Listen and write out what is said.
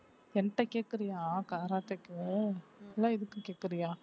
என்ட்ட கேக்குறியா கராத்தேக்கு இல்ல இதுக்கு கேக்கறயா